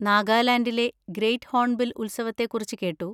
നാഗാലാൻഡിലെ great hornbill ഉത്സവത്തെ കുറിച്ച് കേട്ടു.